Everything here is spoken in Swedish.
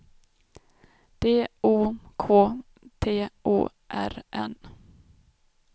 D O K T O R N